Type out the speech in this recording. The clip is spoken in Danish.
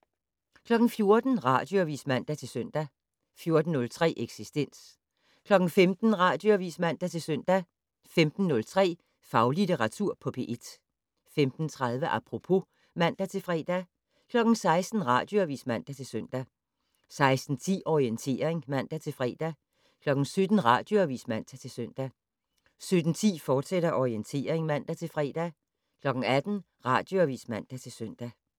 14:00: Radioavis (man-søn) 14:03: Eksistens 15:00: Radioavis (man-søn) 15:03: Faglitteratur på P1 15:30: Apropos (man-fre) 16:00: Radioavis (man-søn) 16:10: Orientering (man-fre) 17:00: Radioavis (man-søn) 17:10: Orientering, fortsat (man-fre) 18:00: Radioavis (man-søn)